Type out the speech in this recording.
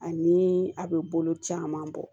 Ani a bɛ bolo caman bɔ